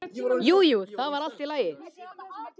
Jú, jú, það var allt í lagi.